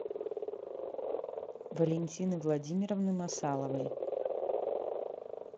валентины владимировны масаловой